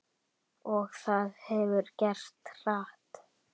Og það hefur gerst hratt.